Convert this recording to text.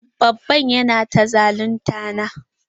Babban nan yana ta zalunta na.